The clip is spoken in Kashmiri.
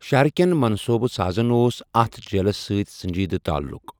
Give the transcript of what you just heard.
شہرٕکٮ۪ن منصوٗبہٕ سازَن اوس اَتھ جیٖلَس سۭتۍ سنٛجیٖد تعلُق۔